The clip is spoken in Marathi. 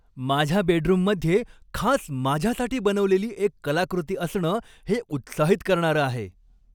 माझ्या बेडरूममध्ये खास माझ्यासाठी बनवलेली एक कलाकृती असणं हे उत्साहित करणारं आहे.